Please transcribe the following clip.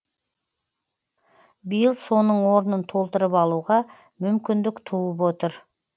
биыл соның орнын толтырып алуға мүмкіндік туып отыр